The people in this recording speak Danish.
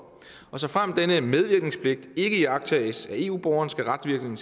og såfremt denne medvirkenspligt ikke iagttages af eu borgeren skal retsvirkningen